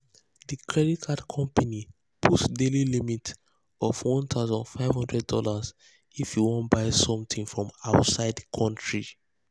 the credit card company put daily limit of one thousand five hundred dollars if you wan buy something from outside country.